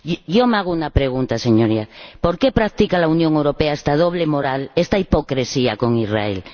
Yo me hago una pregunta, Señorías ¿Por qué practica la Unión Europea esta doble moral, esta hipocresía, con Israel?